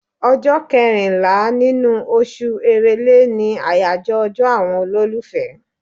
Ọjọ́ kẹrìnlá nínú oṣù Èrèlè ni àyàjọ́ ọjọ́ àwọn olólùfẹ́.